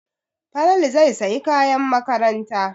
Falalu zai sayi kayan makaranta.